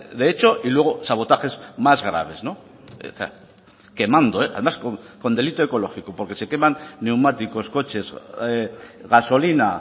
de hecho y luego sabotajes más graves quemando además con delito ecológico porque se queman neumáticos coches gasolina